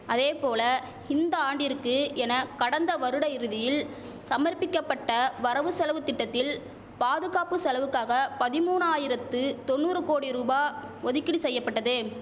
அதேபோல இந்த ஆண்டிற்கு என கடந்த வருட இறுதியில் சமர்ப்பிக்கபட்ட வரவு செலவு திட்டத்தில் பாதுகாப்பு செலவுக்காக பதிமூனாயிரத்து தொண்ணூறு கோடி ரூபா ஒதுக்கீடு செய்யபட்டது